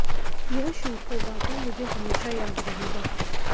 यह शूट तो वाकई मुझे हमेशा याद रहेगा